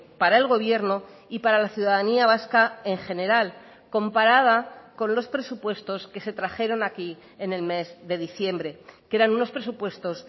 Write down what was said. para el gobierno y para la ciudadanía vasca en general comparada con los presupuestos que se trajeron aquí en el mes de diciembre que eran unos presupuestos